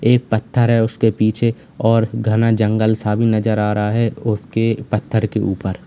एक पत्थर है उसके पीछे और घना जंगल सा भी नजर आ रहा है उसके पत्थर के ऊपर।